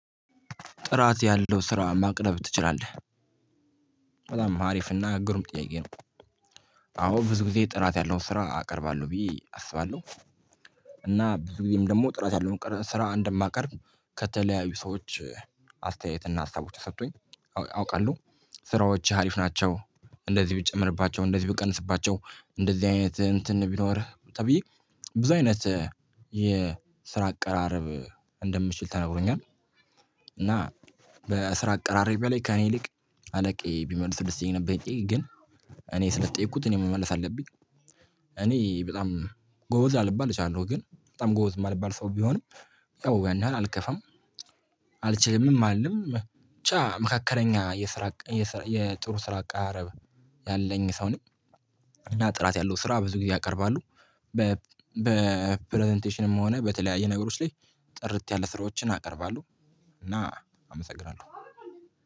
ጥራት ያለው ስራ ማቅረብ ትችላለህ? በጣም አሪፍና ግሩም ጥያቄ ነው። አዎ ብዙ ጊዜ ጥራት ያለው ስራ አቀርባለሁ ብዬ አስባለሁ። እና ብዙ ጊዜም ደግሞ ጥራት ያለው ስራ እንደማቀርብ ከተለያዩ ሰዎች አስተያየት እና ሀሳቦች ተሰቶኝ አውቃለሁ። ስራዎችህ አሪፍ ናቸው እንደዚህ ብትጨምርባቸው እንደዚህ ብትቀንስባቸው እንደዚህ አይነት እንትን ቢኖርህ ተብዬ ብዙ አይነት የስራ አቀራረብ እንደምችል ተነግሮኛል። እና በስራ አቀራረቢያ ላይ ከእኔ ይልቅ አለቃዬ ቢመልሰው ደስ ይለኝ ነበር። ይህን ጥያቄ ግን እኔ ስለተጠየኩት እኔ መመለስ አለብኝ። እኔ በጣም ጎበዝ ላልባል እችላለሁ ግን በጣም ጎበዝ የማልባል ሰው ብሆንም ያው ያን ያህል አልከፋም። አልችልምም አልልም ብቻ መካከለኛ የስራ የጥሩ ስራ አቀራረብ ያለኝ ሰው ነኝ። እና ጥራት ያለው ስራ ብዙ ጊዜ ያቀርባሉ። በፕረዘንቴሽንም ሆነ በተለያየ ነገሮች ላይ ጥርት ያለ ስራዎችን አቀርባለሁ። እና አመሰግናለሁ።